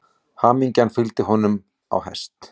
Hamingjan fylgir honum á hest.